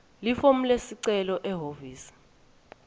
lifomu lesicelo ehhovisi